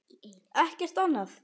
Ekkert annað?